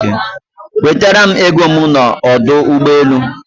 Wetara m ego m n'ọdụ ụgbọelu.